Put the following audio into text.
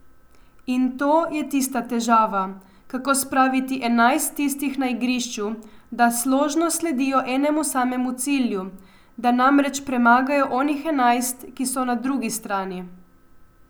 In to je tista težava, kako spraviti enajst tistih na igrišču, da složno sledijo enemu samemu cilju, da namreč premagajo onih enajst, ki so na drugi strani.